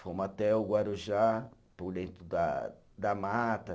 Fomos até o Guarujá, por dentro da da mata.